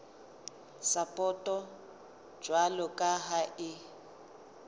sapoto jwalo ka ha e